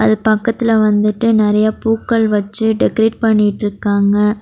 அது பக்கத்துல வந்துட்டு நெறைய பூக்கள் வச்சி டெக்கரெட் பண்ணிட்டுருக்காங்க.